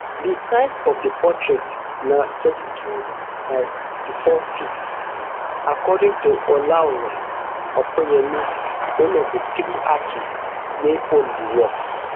di size of di portrait na thirty-two by sixty-fourft according to olaore opeyemi one of di three artists wey own di work